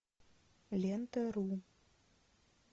лента ру